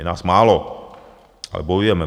Je nás málo, ale bojujeme.